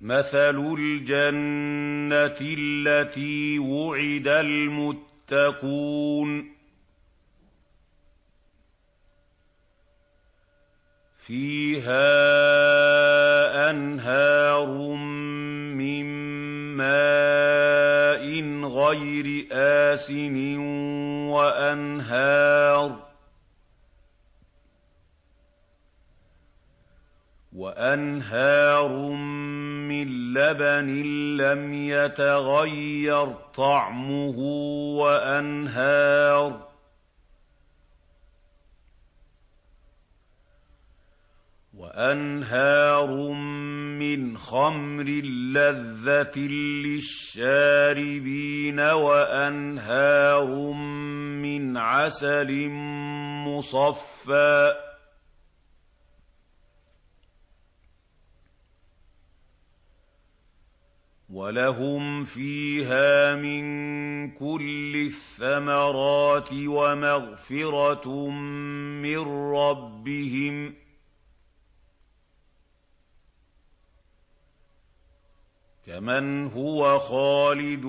مَّثَلُ الْجَنَّةِ الَّتِي وُعِدَ الْمُتَّقُونَ ۖ فِيهَا أَنْهَارٌ مِّن مَّاءٍ غَيْرِ آسِنٍ وَأَنْهَارٌ مِّن لَّبَنٍ لَّمْ يَتَغَيَّرْ طَعْمُهُ وَأَنْهَارٌ مِّنْ خَمْرٍ لَّذَّةٍ لِّلشَّارِبِينَ وَأَنْهَارٌ مِّنْ عَسَلٍ مُّصَفًّى ۖ وَلَهُمْ فِيهَا مِن كُلِّ الثَّمَرَاتِ وَمَغْفِرَةٌ مِّن رَّبِّهِمْ ۖ كَمَنْ هُوَ خَالِدٌ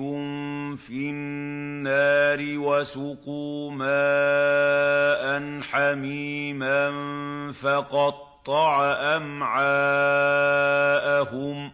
فِي النَّارِ وَسُقُوا مَاءً حَمِيمًا فَقَطَّعَ أَمْعَاءَهُمْ